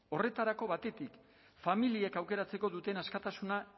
horretarako batetik familiek aukeratzeko duten askatasuna